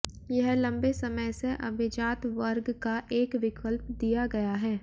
यह लंबे समय से अभिजात वर्ग का एक विकल्प दिया गया है